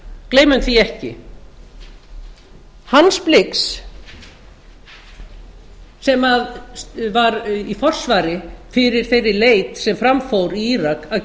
gleymum því ekki hans blix sem var í forsvari fyrir þeirri leit sem fram fór í írak að